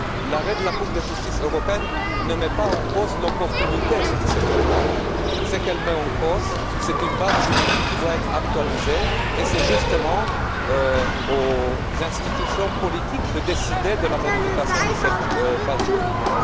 L'arrêt de la Cour de justice européenne ne met pas en cause l'opportunité de ce programme. Ce qu'il met en cause, c'est une base juridique, qui doit être actualisée, et c'est justement aux institutions politiques de décider de la modification de cette base juridique.